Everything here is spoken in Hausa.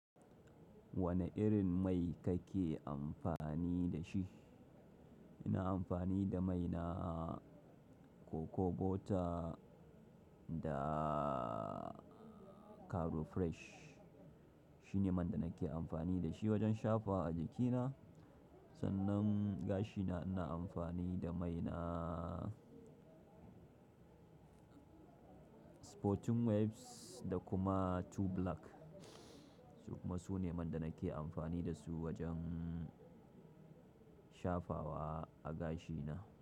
Wane irin mai kake amfani da shi? Ina amfani da mai na Cocoa Butter da Caro Fresh. Shine man da nake amfani da shi wajen shafa wa a jikina. Sannan gashina ina amfani da mai na Sporting Waves da kuma Two Black. Su kuma sune man da nake amfani da su wajen shafawa a gashina.